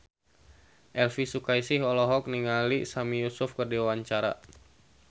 Elvy Sukaesih olohok ningali Sami Yusuf keur diwawancara